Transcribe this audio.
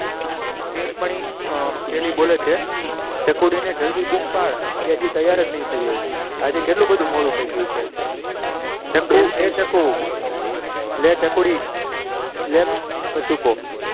તેની પહેલી બોલે છે ચકુડી ને જલ્દી બૂમ પાડ તે હજી તૈયાર જ નહીં થઈ હોય આજે કેટલું બધું મોડું થઈ ગયું છે ચકુ એ ચકુ લે ચકુડી લે કચુક